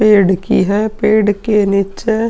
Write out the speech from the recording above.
पेड़ की है। पेड़ के नीचे --